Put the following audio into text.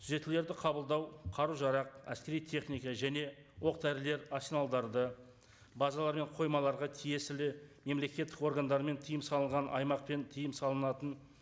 түзетулерді қабылдау қару жарақ әскери техника және оқ дәрілер арсеналдарды базалар мен қоймаларға тиесілі мемлекеттік органдар мен тыйым салынған аймақ пен тыйым салынатын